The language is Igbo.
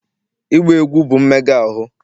ịgba egwu bụ mmega ahụ